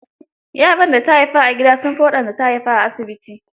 Yaran da ta haifa a gida sun fi wanda ta haifa a asibiti.